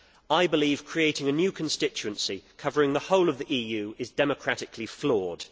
I believe that creating a new constituency, covering the whole of the EU, is democratically flawed.